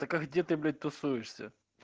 так а где ты блять тусуешься